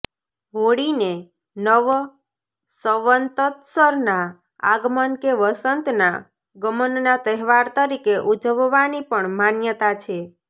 હોળીને નવસંવત્સરના આગમન કે વસંતના ગમનના તહેવાર તરીકે ઉજવવાની પણ માન્યતા છે